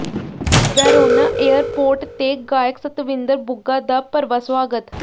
Verona airport ਤੇ ਗਾਇਕ ਸਤਵਿੰਦਰ ਬੁੱਗਾ ਦਾ ਭਰਵਾਂ ਸੁਆਗਤ